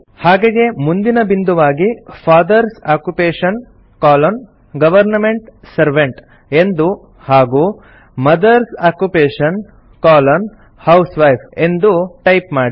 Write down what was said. ಹಾಗೆಯೇ ಮುಂದಿನ ಬಿಂದುವಾಗಿ father's occupation colon government servant ಎಂದು ಹಾಗೂ ಮದರ್ಸ್ ಆಕ್ಯುಪೇಷನ್ ಕೊಲೊನ್ ಹೌಸ್ವೈಫ್ ಎಂದು ಟೈಪ್ ಮಾಡಿ